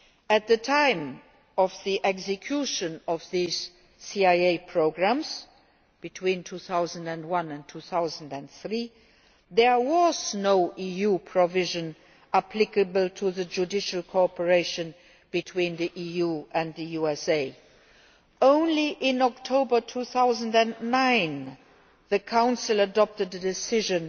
At the time of the execution of these CIA programmes between 2001 and 2003 there was no EU provision applicable to judicial cooperation between the EU and the USA. Only in October 2009 did the Council adopt a decision